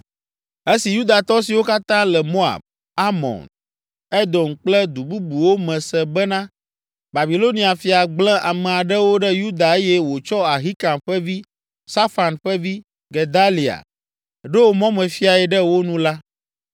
Esi Yudatɔ siwo katã le Moab, Amon, Edom kple du bubuwo me se bena Babilonia fia gblẽ ame aɖewo ɖe Yuda eye wòtsɔ Ahikam ƒe vi, Safan ƒe vi, Gedalia ɖo mɔmefiae ɖe wo nu la,